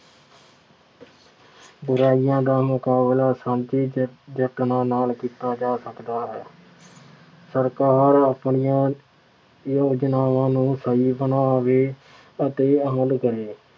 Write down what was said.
ਬੁਰਾਈਆਂ ਦਾ ਮੁਕਾਬਲਾ ਸਾਂਝੇ ਯਤ ਯਤਨਾਂ ਨਾਲ ਕੀਤਾ ਜਾ ਸਕਦਾ ਹੈ। ਸਰਕਾਰ ਆਪਣੀਆਂ ਯੋਜਨਾਵਾਂ ਨੂੰ ਸਹੀ ਬਣਾਵੇ ਅਤੇ ਹੱਲ ਕਰੇ।